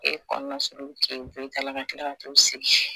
E kɔnɔna suruku k'e bɔ i ta la ka kila ka t'u sigi